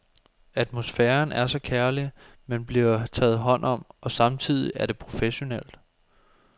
Atmosfæren er så kærlig, man bliver taget hånd om, og samtidig er det professionelt.